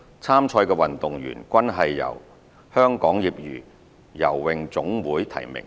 參賽的運動員均是由香港業餘游泳總會提名。